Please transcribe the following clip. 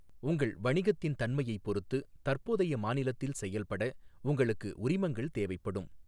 உங்கள் வணிகத்தின் தன்மையைப் பொறுத்து, தற்போதைய மாநிலத்தில் செயல்பட உங்களுக்கு உரிமங்கள் தேவைப்படும்.